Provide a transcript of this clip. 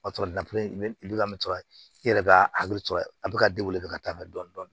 O b'a sɔrɔ i yɛrɛ b'a a bɛ ka ka taa mɛn dɔɔni dɔɔni